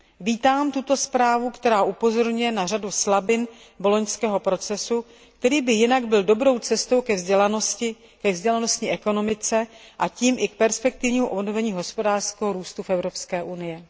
Vítám tuto zprávu, která upozorňuje na řadu slabin boloňského procesu, který by jinak byl dobrou cestou ke vzdělanosti, ke vzdělanostní ekonomice, a tím i k perspektivnímu obnovení hospodářského růstu v Evropské unii.